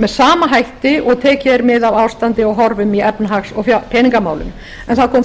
með sama hætti og tekið er mið af ástandi og horfum í efnahags og peningamálum en það kom